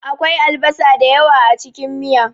Akwai albasa da yawa a cikin miya.